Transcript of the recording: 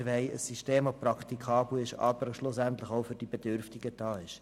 Wir wollen ein System, das praktikabel, aber schlussendlich auch für die Bedürftigen da ist.